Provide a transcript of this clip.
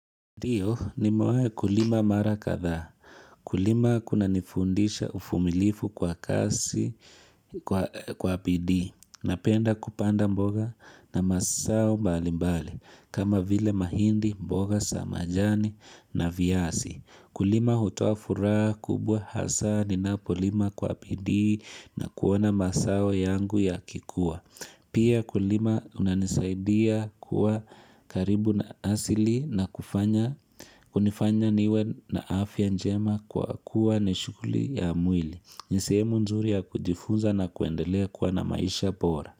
Ndiyo nimewahi kulima mara kadhaa. Kulima kunanifundisha uvumilifu kwa kazi, kwa bidii, napenda kupanda mboga na mazao mbali mbali, kama vile mahindi mboga za majani na viazi. Kulima hutoa furaha, kubwa hasaa, ninapolima kwa bidii na kuona mazao yangu yakikuwa. Pia kulima unanisaidia kuwa karibu na asili na kunifanya niwe na afya njema kwa kuwa ni shughuli ya mwili. Ni sehemu nzuri ya kujifunza na kuendelea kuwa na maisha bora.